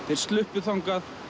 þeir sluppu þangað